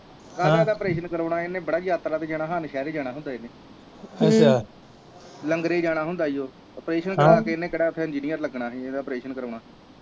operation ਕਰਾਉਣਾ ਇਹਨੇ ਬੜਾ ਯਾਤਰਾ ਤੇ ਜਾਣਾ ਆ ਨੌਸ਼ਹਿਰੇ ਜਾਣਾ ਹੁੰਦਾ ਇਹਨੇ ਲੰਗਾਰੇ ਜਾਣਾ ਹੁੰਦਾ ਇਓ ਓਪਰੇਸ਼ਨ ਕਰਾ ਕ ਇਹਨੇ ਕਿਹੜਾ ਇਹਨੇ ਉਥੇ ਇੰਗਿਨੀਅਰ ਲੱਗਣਾ ਜਿਹੜਾ ਇਹਦਾ ਓਪਰੇਸ਼ਨ ਕਰਾਉਣਾ